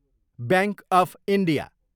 bank of India